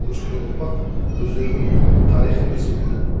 өскелең ұрпақ өздерінің тарихын білсін